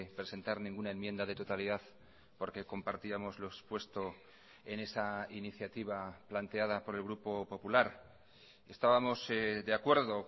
presentar ninguna enmienda de totalidad porque compartíamos lo expuesto en esa iniciativa planteada por el grupo popular estábamos de acuerdo